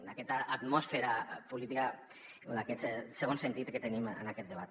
d’aquesta atmosfera política o d’aquest segon sentit que tenim en aquest debat